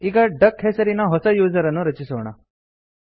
ಈಗ ಡಕ್ ಹೆಸರಿನ ಹೊಸ ಯೂಸರ್ ಅನ್ನು ರಚಿಸೋಣ